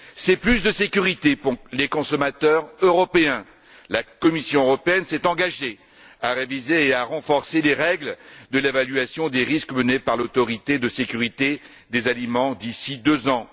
Cela signifie davantage de sécurité pour les consommateurs européens. La Commission européenne s'est engagée à réviser et à renforcer les règles de l'évaluation des risques menée par l'Autorité européenne de sécurité des aliments d'ici deux ans.